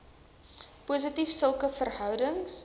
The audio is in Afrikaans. positief sulke verhoudings